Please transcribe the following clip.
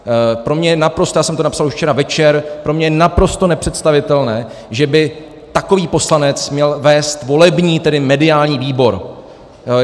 Pro mě je naprosto - já jsem to napsal už včera večer - pro mě je naprosto nepředstavitelné, že by takový poslanec měl vést volební - tedy mediální - výbor.